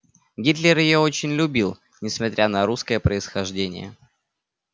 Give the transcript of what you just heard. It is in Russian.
гитлер её очень любил несмотря на русское происхождение